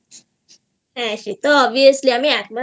হ্যাঁ সে তো Obviously আমি তো